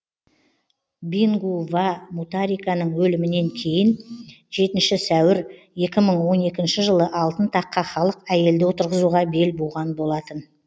бингу ва мутариканың өлімінен кейін жетінші сәуір екі мың он екінші жылы алтын таққа халық әйелді отырғызуға бел буған болатын